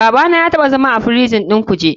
Babana ya taɓa zama a prison ɗin kuje.